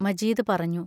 മജീദ് പറഞ്ഞു.